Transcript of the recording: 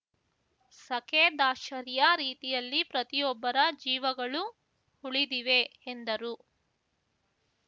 ಸಖೇದಾಶ್ಚರ್ಯ ರೀತಿಯಲ್ಲಿ ಪ್ರತಿಯೊಬ್ಬರ ಜೀವಗಳು ಉಳಿದಿವೆ ಎಂದರು